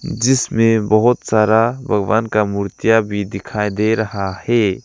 जिसमें बहुत सारा भगवान का मूर्तियां भी दिखाई दे रहा है।